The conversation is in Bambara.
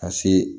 Ka se